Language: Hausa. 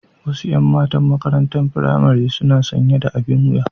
Wasu 'yan matan maƙarantar firamare suna sanƴe da aɓin wuƴa.